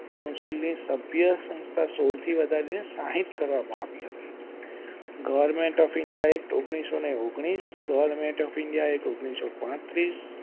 council ની સભ્ય સંસ્થા સોળ થી વધારી ને સાહીઠ કરવામાં આવી હતી. government of india act ઓન્ગ્લીસો ઓન્ગ્લીશ government of india act ઓન્ગ્લીસો પાત્રીસ.